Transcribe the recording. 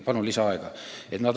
Palun lisaaega!